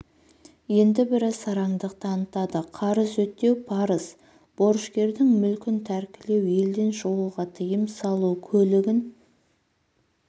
енді бірі сараңдық танытады қарыз өтеу парыз борышкердің мүлкін тәркілеу елден шығуға тыйым салу көлігін